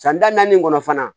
San da naani kɔnɔ fana